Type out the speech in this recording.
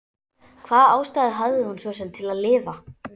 Hvaða ástæðu hafði hún svo sem til að lifa?